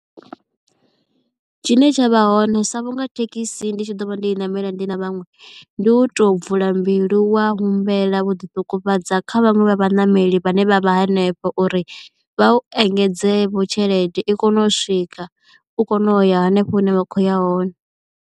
Tshine tsha vha hone sa vhunga thekhisi ndi tshi ḓovha ndo i ṋamela ndi na vhaṅwe ndi u to vula mbilu wa humbela wo ḓiṱungufhadza kha vhaṅwe vha vhaṋameli vhane vha vha hanefho uri vha u engedze vho tshelede i kone u swika u kone u ya hanefho hune wa khoya hone.